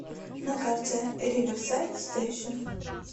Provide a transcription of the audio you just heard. на карте риверсайд стэйшн